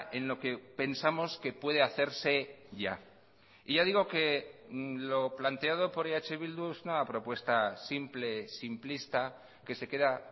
en lo que pensamos que puede hacerse ya y ya digo que lo planteado por eh bildu es una propuesta simple simplista que se queda